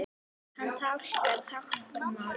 Hann talar táknmál.